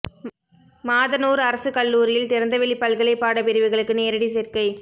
மாதனூா் அரசுக் கல்லூரியில் திறந்தவெளி பல்கலை பாட பிரிவுகளுக்கு நேரடி சோ்க்கை